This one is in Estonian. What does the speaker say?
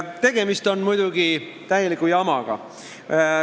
Tegemist on muidugi täieliku jamaga.